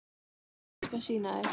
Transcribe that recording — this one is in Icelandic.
Sjáðu, ég skal sýna þér